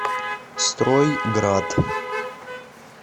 строй град